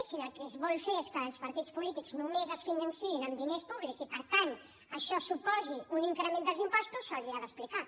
i si el que es vol fer és que els partits polítics només es financin amb diners públics i per tant això suposi un increment dels impostos se’ls hi ha d’explicar